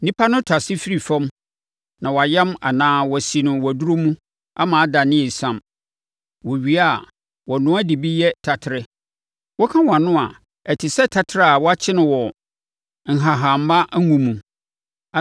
Nnipa no tasee firi fam na wɔayam anaa wɔasi no waduro mu ama adane esiam. Wɔwie a, wɔnoa de bi yɛ taterɛ. Woka wʼano a, ɛte sɛ taterɛ a wɔakye wɔ nhahamma ngo mu.